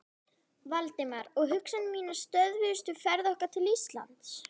Valdimar, og hugsanir mínar stöðvuðust við ferð okkar til Íslands.